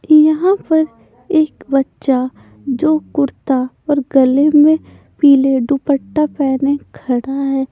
यहां पर एक बच्चा जो कुर्ता और गले में पीले दुपट्टा पहने खड़ा है।